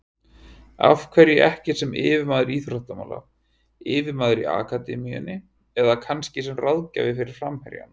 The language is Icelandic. Af hverju ekki sem yfirmaður íþróttamála, yfirmaður í akademíunni eða kannski sem ráðgjafi fyrir framherjana?